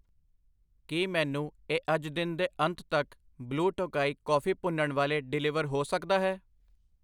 ਕੀ ਮੈਨੂੰ ਇਹ ਅੱਜ ਦਿਨ ਦੇ ਅੰਤ ਤੱਕ ਬਲੁ ਟੋਕਾਈ ਕੌਫੀ ਭੁੰਨਣ ਵਾਲੇ ਡਿਲੀਵਰ ਹੋ ਸਕਦਾ ਹੈ?